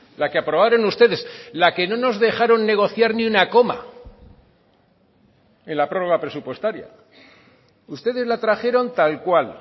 la que aprobaron ustedes la que no nos dejaron negociar ni una coma en la prórroga presupuestaria ustedes la trajeron tal cual